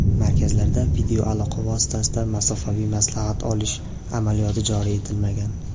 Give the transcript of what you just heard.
Markazlarda videoaloqa vositasida masofaviy maslahat olish amaliyoti joriy etilmagan.